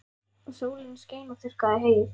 Og sólin skein og þurrkaði heyið.